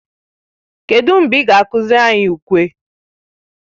Kedụ mgbe ị ga-akụziri anyị ukwe?